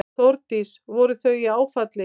Þórdís: Voru þau í áfalli?